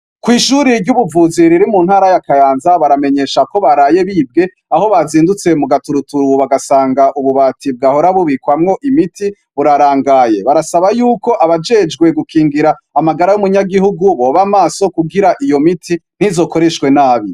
Kw'ishuri ry'ubuvuzi riri mu ntara y'akayanza baramenyesha ko baraye bibwe aho bazindutse mu gaturuturu bagasanga ububati bwahora bubikwamwo imiti burarangaye barasaba yuko abajejwe gukingira amagara y'umunyagihugu boba amaso kugira iyo miti ntizokoreshwe nabi.